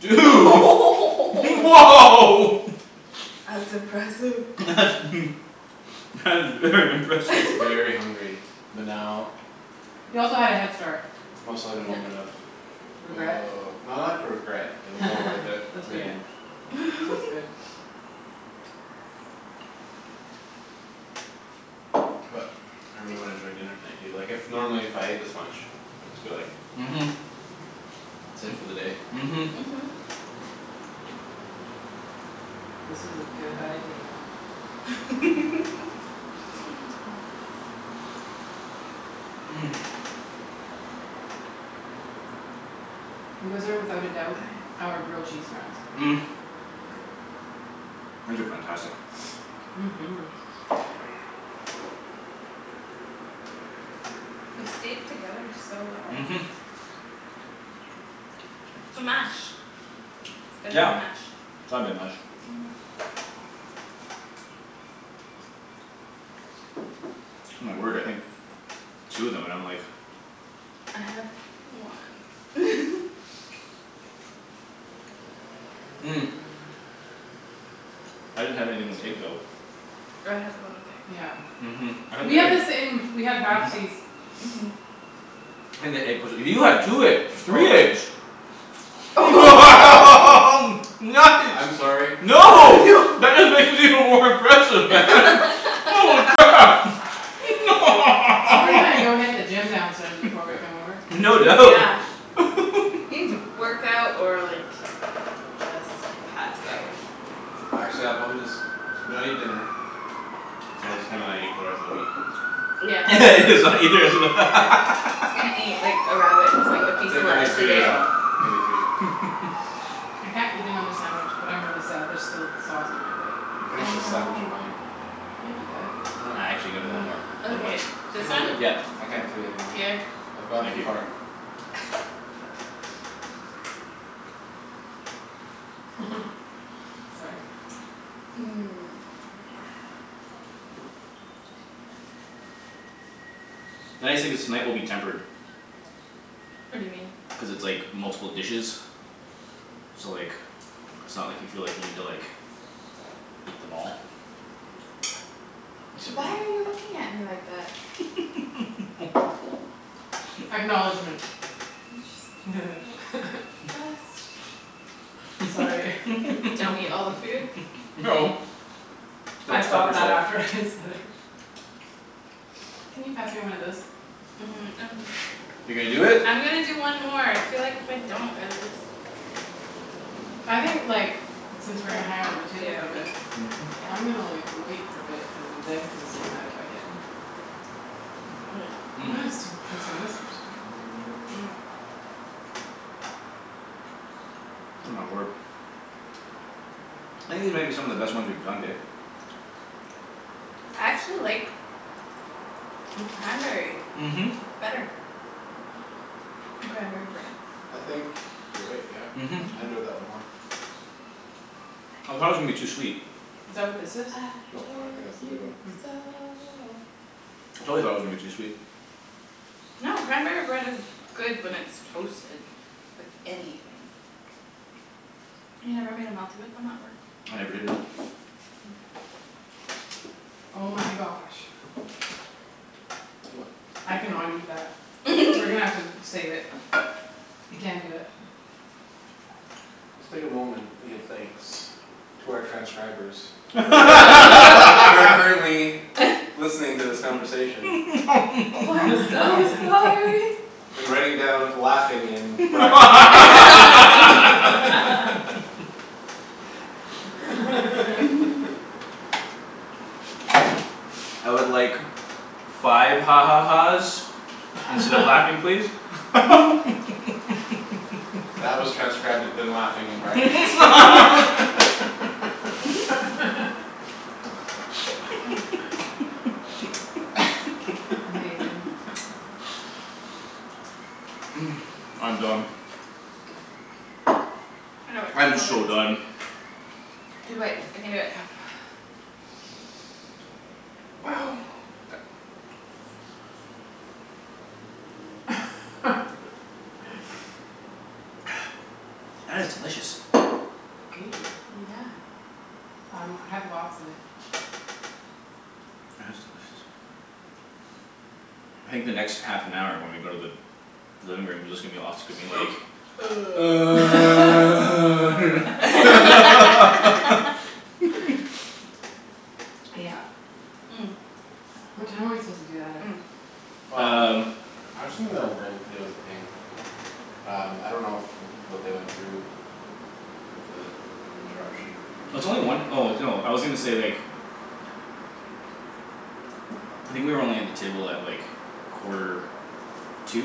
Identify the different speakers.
Speaker 1: Dude woah
Speaker 2: That's impressive.
Speaker 1: That's that's very impressive.
Speaker 3: Very hungry, but now
Speaker 4: He also had a head start.
Speaker 3: Must let a moment of
Speaker 4: Regret?
Speaker 3: no not for regret. It was all worth it
Speaker 4: That's
Speaker 3: in the
Speaker 4: good.
Speaker 3: end.
Speaker 4: That's good.
Speaker 3: But I really wanna enjoy dinner tonight. Du- like if normally if I ate this much I'd just be like
Speaker 1: Mhm.
Speaker 3: That's it for the day.
Speaker 1: Mhm.
Speaker 2: Mhm
Speaker 4: This was a good idea. You guys are without a doubt
Speaker 2: Aye
Speaker 4: our grilled cheese friends.
Speaker 1: These are fantastic.
Speaker 4: Mhm
Speaker 2: Yeah They stayed together so well.
Speaker 1: Mhm.
Speaker 2: It's the mash. It's gotta be
Speaker 1: Yeah.
Speaker 2: the mash.
Speaker 1: It's gotta be the mash. My word I think two of 'em and I'm like.
Speaker 2: I had one
Speaker 1: I didn't have anything with egg though.
Speaker 2: Oh I had the one with egg.
Speaker 4: Yeah
Speaker 1: Mhm I had
Speaker 4: We
Speaker 1: the
Speaker 4: have
Speaker 1: egg
Speaker 4: the same. We have
Speaker 1: mhm
Speaker 4: halfsies.
Speaker 2: Mhm
Speaker 1: I think the egg 'pposed to you had two egg three
Speaker 3: Stolen.
Speaker 1: eggs.
Speaker 3: I'm
Speaker 1: Nice.
Speaker 3: sorry.
Speaker 2: Oh
Speaker 1: No.
Speaker 2: no
Speaker 1: That is even more impressive man. Holy crap.
Speaker 4: So we're gonna go hit the gym downstairs before we come
Speaker 3: Yeah
Speaker 4: over.
Speaker 1: No
Speaker 2: Dude
Speaker 1: doubt.
Speaker 2: yeah You need to work out or like just pass out.
Speaker 3: Actually I'll probably just gotta eat dinner So I just gonna not eat for the rest of the week.
Speaker 2: Yeah
Speaker 1: just not eat the rest of the
Speaker 3: Yeah
Speaker 2: He's gonna eat like a rabbit and just like
Speaker 3: I'll
Speaker 2: a
Speaker 3: like I'll
Speaker 2: piece
Speaker 3: take
Speaker 2: of
Speaker 3: at least
Speaker 2: lettuce
Speaker 3: two
Speaker 2: a
Speaker 3: days
Speaker 2: day.
Speaker 3: off. Maybe three.
Speaker 4: I can't eat another sandwich but I'm really sad there's still sauce on my plate.
Speaker 3: Yo
Speaker 2: I
Speaker 3: finish with
Speaker 2: know
Speaker 3: sandwich of mine.
Speaker 4: I can do that.
Speaker 3: Why
Speaker 1: I
Speaker 3: not?
Speaker 1: actually gonna one more. For the one.
Speaker 2: Okay,
Speaker 3: Take
Speaker 2: this
Speaker 3: a
Speaker 2: one?
Speaker 3: whole thing.
Speaker 1: Yeah.
Speaker 3: I can't do anymore.
Speaker 2: Here
Speaker 3: I've gone
Speaker 1: Thank
Speaker 3: too
Speaker 1: you.
Speaker 3: far.
Speaker 4: Sorry.
Speaker 1: Nice thing is tonight will be tempered.
Speaker 2: What do you mean?
Speaker 1: Cuz it's like multiple dishes. So like it's not like you feel like you need to like Eat them all. Except
Speaker 2: Why
Speaker 1: you.
Speaker 2: are you looking at me like that?
Speaker 4: Acknowledgment
Speaker 2: I'm just Just
Speaker 4: Sorry
Speaker 2: Don't eat all the food
Speaker 1: No
Speaker 4: I
Speaker 1: Don't stop
Speaker 4: thought that
Speaker 1: yourself.
Speaker 4: after I said it. Can you pass me one of those?
Speaker 2: Um I'm
Speaker 1: You're gonna do it?
Speaker 2: I'm gonna do one more. I feel like if I don't I would just
Speaker 4: I think like since we're gonna
Speaker 2: That
Speaker 4: hang out at the
Speaker 2: I
Speaker 4: table for a
Speaker 2: have
Speaker 4: bit
Speaker 2: to
Speaker 4: I'm gonna
Speaker 2: Yeah
Speaker 4: like wait for a bit and then consume that if I can. But I'm gonna still consume this first.
Speaker 1: Oh my word. I think these might be some of the best ones we've done, babe.
Speaker 2: I actually like the cranberry
Speaker 1: Mhm.
Speaker 2: better. Cranberry bread
Speaker 3: I think you're right yeah.
Speaker 1: Mhm
Speaker 3: I enjoyed that one
Speaker 2: Mhm.
Speaker 3: more.
Speaker 1: I thought it was gonna be too sweet.
Speaker 4: Is that what this is?
Speaker 2: I
Speaker 3: No, I don't
Speaker 2: told
Speaker 3: think that's the big
Speaker 2: you
Speaker 3: one.
Speaker 2: so
Speaker 1: I totally thought it was gonna be too sweet.
Speaker 2: No cranberry bread is good when it's toasted with anything. You never made a melty with them at work?
Speaker 1: I never did, no.
Speaker 4: Oh my gosh I cannot eat that. We're gonna have to save it. I can't do it.
Speaker 3: Just take a moment and give thanks to our transcribers Who are current who are currently Listening to this conversation.
Speaker 2: Oh I'm so sorry.
Speaker 3: And writing down "laughing" in brackets and Ian
Speaker 1: I would like five ha ha ha's Instead of "laughing" please.
Speaker 3: That was transcribed with the "laughing" in brackets.
Speaker 4: Amazing.
Speaker 1: I'm done.
Speaker 2: I can do
Speaker 1: I'm
Speaker 2: it. Two more
Speaker 1: so done.
Speaker 2: bites. Two bites, I can do it.
Speaker 4: Yep
Speaker 1: Wow. That is delicious.
Speaker 4: Thank you.
Speaker 2: Yeah
Speaker 4: Um I have lots of it.
Speaker 1: That is delicious. I think the next half an hour when we go to the living room is just gonna be us gonna be like
Speaker 4: Yeah What time are we supposed to do that at?
Speaker 1: Um
Speaker 3: Well I actually dunno if they'll give us a ping. Um I don't know if what they went through With the interruption In
Speaker 1: It's only one
Speaker 3: there.
Speaker 1: oh no I was gonna say like I think we were only at the table at like quarter to